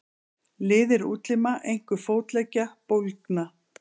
Liðir útlima, einkum fótleggja, bólgna.